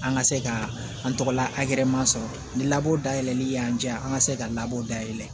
An ka se ka an tɔgɔla masɔrɔ ni labɔ dayɛlɛli yan di yan an ka se ka labɔ dayɛlɛn